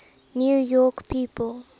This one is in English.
new york people